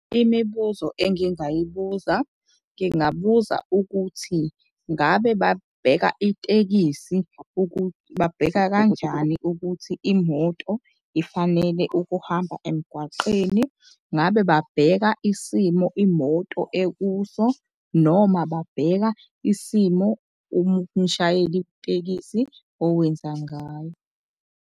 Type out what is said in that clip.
Imibuzo engingayibuza ngingabuza ukuthi ngabe babheka itekisi, babheka kanjani ukuthi imoto ifanele ukuhamba emgwaqeni. Ngabe babheka isimo imoto ekuso noma babheka isimo umshayeli wetekisi owenza ngayo.